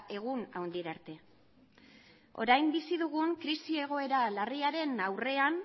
egun handira arte orain bizi dugun krisi egoera larriaren aurrean